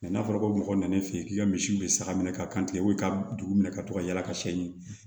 n'a fɔra ko mɔgɔ nana ne fɛ yen k'i ka misiw bɛ saga minɛ ka kan i ka dugu minɛ ka to ka yala ka siɲɛ ɲini